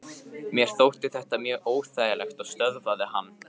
Mér þótti þetta mjög óþægilegt og stöðvaði hann.